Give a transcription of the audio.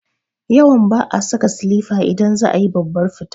Yawan ba'a saka silifa idan za a yi babbar fita